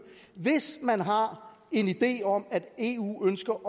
hvis man har en idé om at eu ønsker